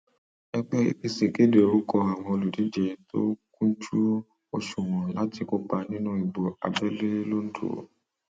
ẹgbẹ apc kéde orúkọ àwọn olùdíje tó kúnjú òṣùwọn láti kópa nínú ìbò abẹlé lodò